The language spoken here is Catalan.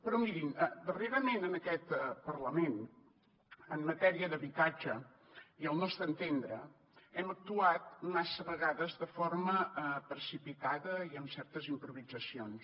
però mirin darrerament en aquest parlament en matèria d’habitatge i al nostre entendre hem actuat massa vegades de forma precipitada i amb certes improvisacions